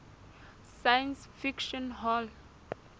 science fiction hall